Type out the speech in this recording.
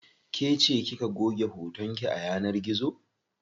Kece kika goge hoton ki a yanar gizo.